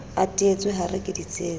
a teetswe hare ke ditsietsi